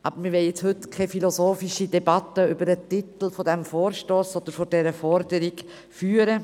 Doch wir wollen heute keine philosophische Debatte über den Titel des Vorstosses oder dieser Forderung führen.